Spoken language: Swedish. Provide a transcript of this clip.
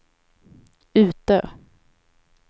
Utö